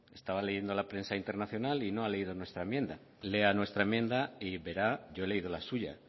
estaba leyendo la prensa internacional y no ha leído nuestra enmienda lea nuestra enmienda y verá yo he leído la suya